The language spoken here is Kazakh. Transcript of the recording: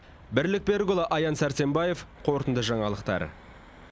бірлік берікұлы аян сәрсенбаев қорытынды жаңалықтар